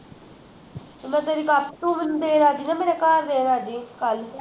ਮੈਂ ਤੇਰੀ ਤੂੰ ਮੈਨੂੰ ਦੇਣ ਆਜੀ ਨਾ ਮੇਰੇ ਘਰ ਆਜੀ